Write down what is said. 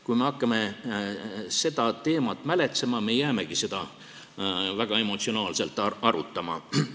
Kui me hakkame seda teemat mäletsema, siis me jäämegi seda väga emotsionaalselt arutama.